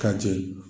Ka jɛ